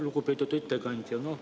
Lugupeetud ettekandja!